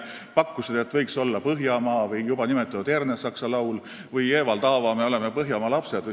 Nad pakkusid, et selle asemel võiks olla "Laul Põhjamaast" või juba nimetatud Ernesaksa laul või Evald Aava "Me oleme põhjamaa lapsed".